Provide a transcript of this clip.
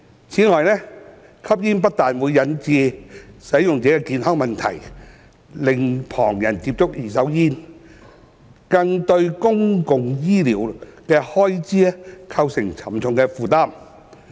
此外，吸煙不但引致使用者的健康問題，令旁人接觸二手煙，更對公共醫療開支構成沉重負擔。